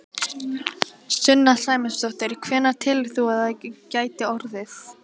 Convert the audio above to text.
Sunna Sæmundsdóttir: Hvenær telur þú að það geti orðið?